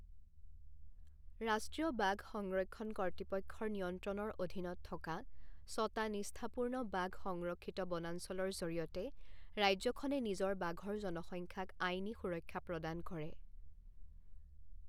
ৰাষ্ট্ৰীয় বাঘ সংৰক্ষণ কৰ্তৃপক্ষৰ নিয়ন্ত্ৰণৰ অধীনত থকা ছটা নিষ্ঠাপূৰ্ণ বাঘ সংৰক্ষিত বনাঞ্চলৰ জৰিয়তে ৰাজ্যখনে নিজৰ বাঘৰ জনসংখ্যাক আইনী সুৰক্ষা প্ৰদান কৰে।